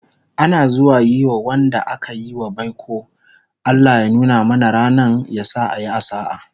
Ana zuwa Yi ma Wanda akayi wa baiko"Allah ya nuna mana rannan, yasa a Yi a sa'a"